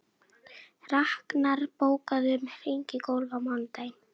Raknar, bókaðu hring í golf á mánudaginn.